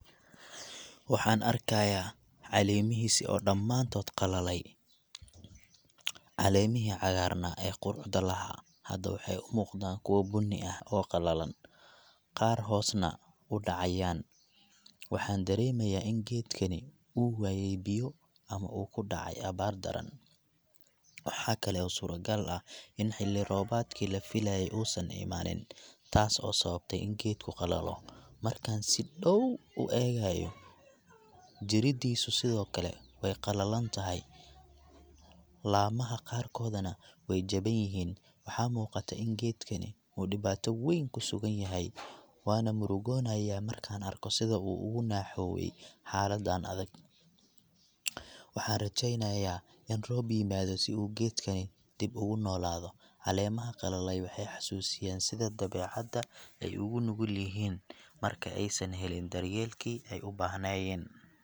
Waxaan arkayaa caleemihiisii oo dhammaantood qalalay . Caleemihii cagaarnaa ee quruxda lahaa hadda waxay u muuqdaan kuwo bunni ah oo qallalan, qaarna hoos na u dhacayaan. Waxaan dareemayaa in geedkani uu waayay biyo ama uu ku dhacay abaar daran. Waxaa kale oo suuragal ah in xilli-roobaadkii la filayay uusan imaanin, taas oo sababtay in geedku qalalo. Markaan si dhow u eegayo, jiridiisu sidoo kale way qallalan tahay, laamaha qaarkoodana way jaban yihiin. Waxaa muuqata in geedkani uu dhibaato weyn ku sugan yahay. Waan murugoonayaa markaan arko sida uu uga naxooway xaaladaan adag. Waxaan rajeynayaa in roob yimaado si uu geedkani dib ugu noolaado. Caleemaha qalalay waxay xasuusiyaan sida dabeecadda ay ugu nugul yihiin marka aysan helin daryeelkii ay u baahnayeen.